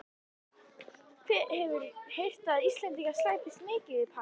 Hefur heyrt að Íslendingar slæpist mikið í París.